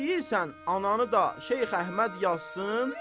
İstəyirsən ananı da Şeyx Əhməd yazsın?